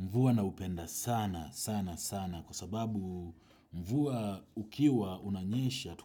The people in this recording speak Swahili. Mvua naupenda sana, sana, sana, kwa sababu mvua ukiwa unanyesha,